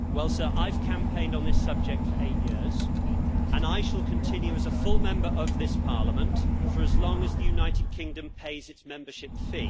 I have campaigned on this subject for eight years, and I shall continue as a full Member of this Parliament for as long as the United Kingdom pays its membership fee.